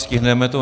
Stihneme to.